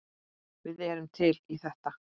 Við erum til í þetta.